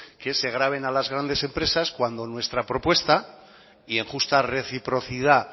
que se graven a las grandes empresas cuando nuestra propuesta y en justa reciprocidad